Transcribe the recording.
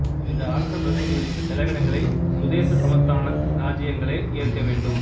இந்த அரசப் பிரதிநிதிகளின் செலவினங்களை சுதேச சமஸ்தான இராச்சியங்களே ஏற்க வேண்டும்